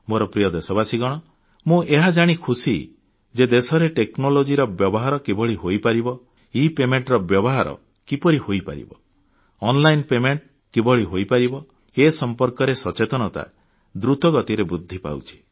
ମୋର ପ୍ରିୟ ଦେଶବାସୀଗଣ ମୁଁ ଏହା ଜାଣି ଖୁସି ଯେ ଦେଶରେ ପ୍ରଯୁକ୍ତି କୌଶଳ ସେବାର ବ୍ୟବହାର କିଭଳି ହୋଇପାରିବ ଇପାଉଣାର ବ୍ୟବହାର କିପରି ହୋଇପାରିବ ଅନଲାଇନ୍ ପେମେଣ୍ଟ କିଭଳି ହୋଇପାରିବ ଏ ସମ୍ପର୍କରେ ସଚେତନତା ଦ୍ରୁତ ଗତିରେ ବୃଦ୍ଧି ପାଉଛି